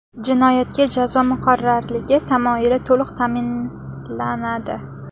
Jinoyatga jazo muqarrarligi tamoyili to‘liq ta’minlanadi.